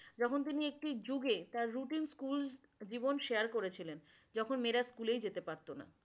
যখন তিনি একটি যুগে তার রুটিন স্কুলজীবন share করেছিলেন। যখন মেয়েরা স্কুলেই যেতে পারতো না।